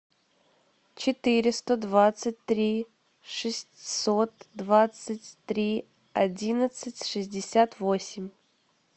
четыреста двадцать три шестьсот двадцать три одиннадцать шестьдесят восемь